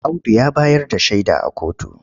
Audu ya bayar da shaida a kotu.